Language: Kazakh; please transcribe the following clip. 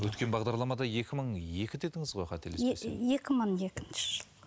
өткен бағдарламада екі мың екі дедіңіз ғой қателеспесем екі мың екінші жылғы